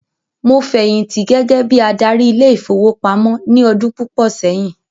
Mo fẹ̀yìntì gẹgẹ bíi adarí ile-ìfowópamó ní ọdún púpò sẹyìn